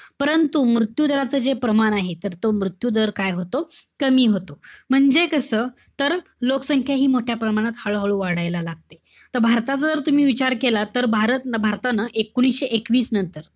परंतु मृत्यू दराच जे प्रमाण आहे, तर तो मृत्यू दर काय होतो? कमी होतो. म्हणजे कसं? तर लोकसंख्या हि मोठ्या प्रमाणात हळूहळू वाढायला लागते. त भारताचं जर तम्ही विचार केला, तर भारत~ भारतानं एकोणविशे एकवीस नंतर,